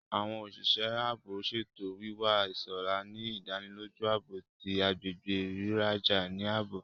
Awọn oṣiṣẹ ààbò ṣetọju wiwa iṣọra, ni ìdánilójú ààbò ti agbègbè riraja ni ààbò